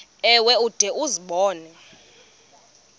ewe ude uzibone